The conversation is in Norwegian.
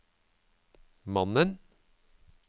mannen